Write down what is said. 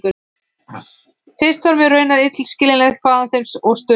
Fyrst var mér raunar illskiljanlegt hvaðan þeim Sturlu og